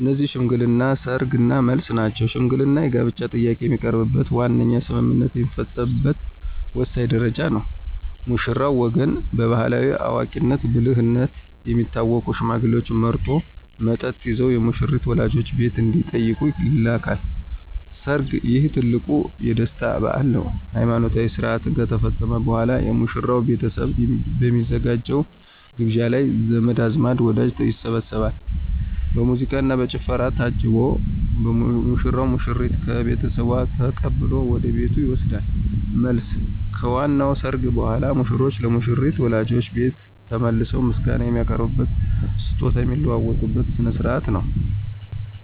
እነዚህም ሽምግልና፣ ሰርግ እና መልስ ናቸው። ሽምግልና የጋብቻ ጥያቄ የሚቀርብበትና ዋነኛው ስምምነት የሚፈጸምበት ወሳኝ ደረጃ ነው። የሙሽራው ወገን በባሕላዊ አዋቂነትና ብልህነት የሚታወቁ ሽማግሌዎችን መርጦ፣ መጠጥ ይዘው የሙሽሪትን ወላጆች ቤት እንዲጠይቁ ይልካል። ሰርግ: ይህ ትልቁ የደስታ በዓል ነው። ሃይማኖታዊ ሥርዓት ከተፈጸመ በኋላ፣ የሙሽራው ቤተሰብ በሚያዘጋጀው ግብዣ ላይ ዘመድ አዝማድና ወዳጅ ይሰባሰባል። በሙዚቃና በጭፈራ ታጅቦ ሙሽራው ሙሽሪትን ከቤተሰቧ ተቀብሎ ወደ ቤቱ ይወስዳል። መልስ: ከዋናው ሰርግ በኋላ፣ ሙሽሮች ለሙሽሪት ወላጆች ቤት ተመልሰው ምስጋና የሚያቀርቡበትና ስጦታ የሚለዋወጡበት ሥነ ሥርዓት ነው።